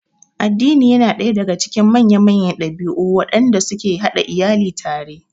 Addini yana daya daga cikin manya-manyan dabi'u wadanda suke hada iyali tare